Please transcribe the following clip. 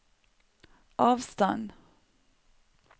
avstand